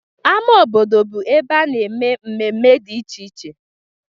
Ama obodo bụ ebe a na-eme mmemme dị iche iche.